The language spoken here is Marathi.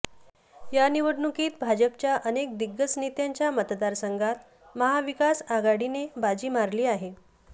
या निवडणुकीत भाजपच्या अनेक दिग्गज नेत्यांच्या मतदारसंघात महाविकास आघाडीने बाजी मारली आहे